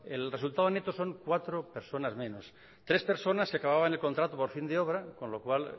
el resultado neto son cuatro personas menos tres personas que acababan el contrato por fin de obra con lo cual